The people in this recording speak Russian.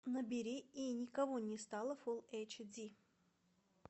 набери и никого не стало фулл эйч ди